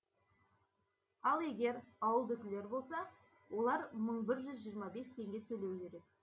ал егер ауылдікілер болса олар мың бір жүз жиырма бес теңге төлеу керек